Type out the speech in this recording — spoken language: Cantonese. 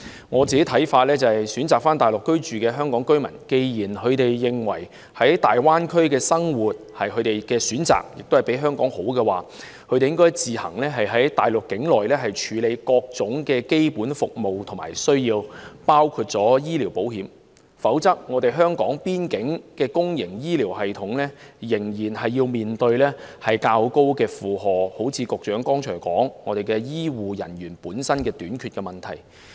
我個人的看法是，選擇返回內地居住的香港居民既然認為在大灣區生活是他們的選擇，亦較香港好時，他們應自行在內地處理各種基本服務和需要，包括醫療保險，否則港方的公營醫療系統仍然會面對較高的負荷，正如局長剛才所說，出現香港的醫護人員短缺問題。